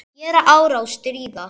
Gera árás- stríða